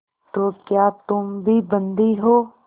तो क्या तुम भी बंदी हो